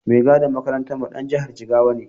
Mai gadin makarantarmu ɗan jihar Jigawa ne.